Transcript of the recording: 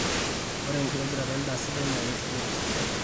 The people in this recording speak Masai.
ore enkitobirata endaa sidai naa keisidai tosesen